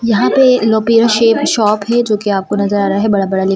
यहाँ पे लोपीरा सेप शॉप है जो कि आपको नज़र आ रहा है बड़ा बड़ा लिखा हुआ है।